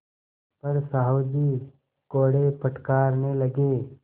पर साहु जी कोड़े फटकारने लगे